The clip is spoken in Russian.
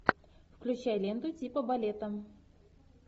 включай ленту типа балета